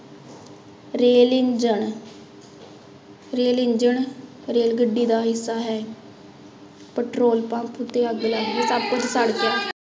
Rail engine rail engine, rail ਗੱਡੀ ਦਾ ਹਿੱਸਾ ਹੈ ਪੈਟਰੋਲ ਪੰਪ ਉੱਤੇ ਅੱਗ ਲੱਗ ਗਈ ਸਭ ਕੁਛ ਸੜ ਗਿਆ।